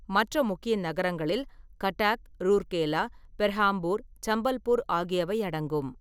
மற்ற முக்கிய நகரங்களில் கட்டாக், ரூர்கேலா, பெர்ஹாம்பூர், சம்பல்பூர் ஆகியவை அடங்கும்.